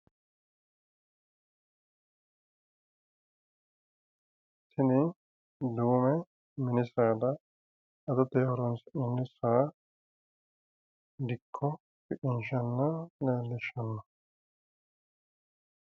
Tini duume mini saada adote horonsi'nanni saa dikko shiqinshanna leellishshanno